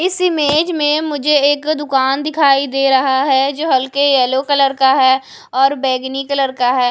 इस इमेज में मुझे एक दुकान दिखाई दे रहा है जो हल्के येलो कलर का है और बैगनी कलर का है।